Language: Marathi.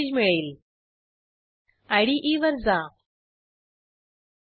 सिस्टीममधे युजर उपलब्ध असल्यास आणि checkout book ची व्हॅल्यू नुल नसल्यास checkoutमेथड कॉल करू